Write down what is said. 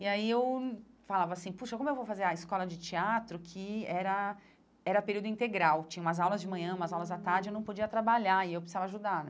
E aí eu falava assim, poxa, como eu vou fazer a escola de teatro, que era era período integral, tinha umas aulas de manhã, umas aulas de tarde, eu não podia trabalhar e eu precisava ajudar, né?